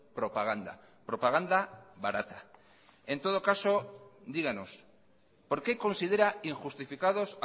propaganda propaganda barata en todo caso díganos por qué considera injustificados